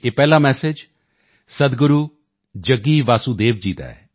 ਇਹ ਪਹਿਲਾ ਮੈਸੇਜ ਸਦਗੁਰੂ ਜੱਗੀ ਵਾਸੂਦੇਵ ਜੀ ਦਾ ਹੈ